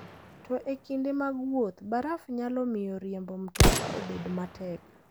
To e kinde mag wuoth, baraf nyalo miyo riembo mtoka obed matek.